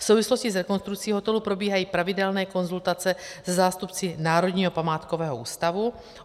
V souvislosti s rekonstrukcí hotelu probíhají pravidelné konzultace se zástupci Národního památkového ústavu.